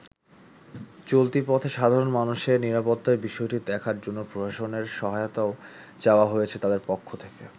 চলতি পথে সাধারণ মানুষের নিরাপত্তার বিষয়টি দেখার জন্য প্রশসানের সহায়তাও চাওয়া হয়েছে তাদের পক্ষ থেকে।